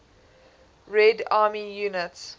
red army units